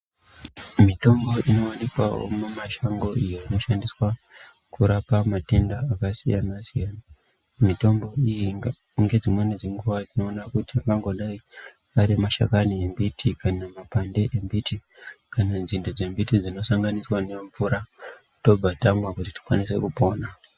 Mitombo inowanikwawo mumashango iyo inoshandiswa kurapa matenda akasiyana siyana mitombo iyi ngedzimweni dzenguwa tinoona kuti angangodai arimashakani embiti kana mapande embiti kana nzinde dzembiti dzinosanganiswa nemvura tobva tamwa kuti tikwanise kupona.